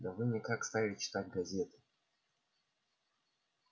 да вы никак стали читать газеты